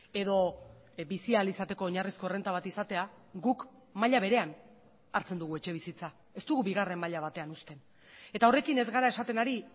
edo bizi ahal izateko oinarrizko errenta bat izatea guk maila berean hartzen dugu etxebizitza ez dugu bigarren maila batean uzten eta horrekin ez gara esaten ari